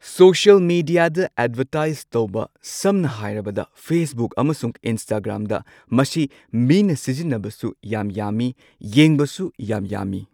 Social ꯃꯦꯗꯤꯌꯥꯗ advertise ꯇꯧꯕ ꯁꯝꯅ ꯍꯥꯏꯔꯕꯗ ꯐꯦꯁꯕꯨꯛ ꯑꯃꯁꯨꯡ ꯏꯟꯁꯇꯥꯒ꯭ꯔꯥꯝꯗ ꯃꯁꯤ ꯃꯤꯅ ꯁꯤꯖꯤꯟꯅꯕꯁꯨ ꯌꯥꯝ ꯌꯥꯝꯃꯤ ꯌꯦꯡꯕꯁꯨ ꯌꯥꯝ ꯌꯥꯝꯃꯤ꯫